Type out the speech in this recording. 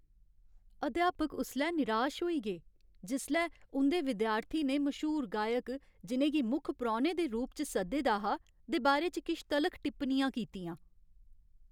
अध्यापक उसलै निराश होई गे जिसलै उं'दे विद्यार्थी ने मश्हूर गायक, जि'नें गी मुक्ख परौह्ने दे रूप च सद्दे दा हा, दे बारे च किश तलख टिप्पणियां कीतियां।